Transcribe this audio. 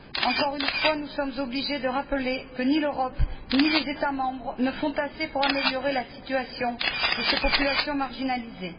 Encore une fois, nous sommes obligés de rappeler que ni l'Europe, ni les États membres ne font assez pour améliorer la situation de ces populations marginalisées.